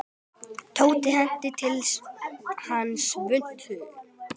Tóti henti til hans svuntu.